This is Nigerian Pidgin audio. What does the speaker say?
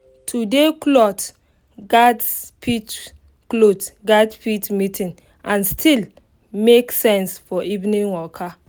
today cloth gatz fit cloth gatz fit meeting and still make sense for evening waka